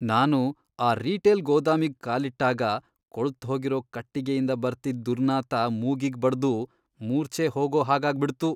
ನಾನು ಆ ರೀಟೇಲ್ ಗೋದಾಮಿಗ್ ಕಾಲಿಟ್ಟಾಗ ಕೊಳ್ತ್ಹೋಗಿರೋ ಕಟ್ಟಿಗೆಯಿಂದ ಬರ್ತಿದ್ದ್ ದುರ್ನಾತ ಮೂಗಿಗ್ ಬಡ್ದು ಮೂರ್ಛೆ ಹೋಗೋಹಾಗಾಗ್ಬಿಡ್ತು.